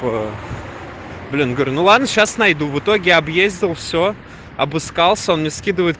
по блин говорю ну ладно сейчас найду в итоге объездил все обыскался он мне скидывает